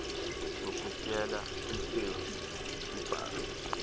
yokutyela ikhefi ibhari